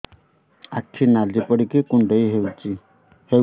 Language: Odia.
ଆଖି ନାଲି ପଡିକି କୁଣ୍ଡେଇ ହଉଛି